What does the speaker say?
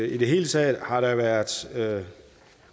i det hele taget har der været